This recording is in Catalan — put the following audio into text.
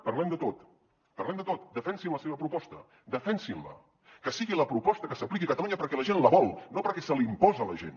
parlem de tot parlem de tot defensin la seva proposta defensin la que sigui la proposta que s’apliqui a catalunya perquè la gent la vol no perquè se li imposa a la gent